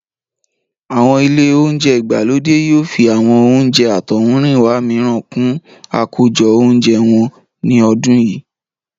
Àwọn ilé oúnjẹ ìgbàlódé yóò fi àwọn oúnjẹ àtọ̀húnrìnwá mìíràn kún àkójọ oúnjẹ wọn ní ọdún yìí